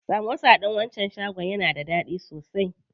Samosa ɗin wancan shagon yana da daɗi sosai.